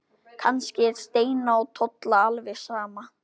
Kannski er Steina og Tolla alveg sama.